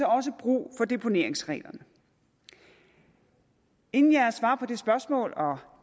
også har brug for deponeringsreglerne inden jeg svarer på det spørgsmål og